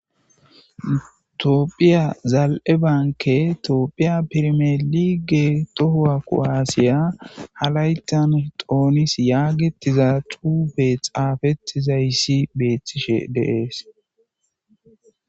toophiya zal7e banke toophiya pirimee lige tohowa qo7aasiya halaytan doonis yaagetiza cuube xaafettizayssi beethtishe deees